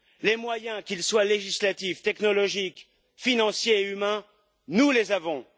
Les moyens, qu'ils soient législatifs, technologiques, financiers ou humains, nous les avons!